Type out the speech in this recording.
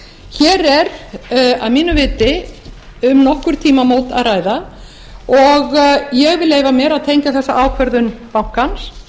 hér er að mínu viti um nokkur tímamót að ræða og ég vil leyfa mér að tengja þessa ákvörðun bankans